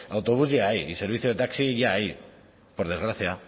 autobús ya hay y servicio de taxi ya hay por desgracia